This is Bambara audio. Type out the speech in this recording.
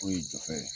Foyi jɔfɛ